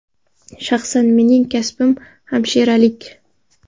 Shaxsan mening kasbim hamshiralik.